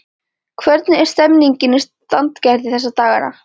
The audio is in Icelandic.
Hvernig er stemmningin í Sandgerði þessa dagana?